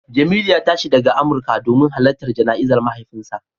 Jemilu ya tashi daga Amurka domin halartar jana'izar mahaifinsa